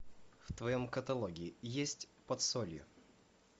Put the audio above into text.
в твоем каталоге есть под солью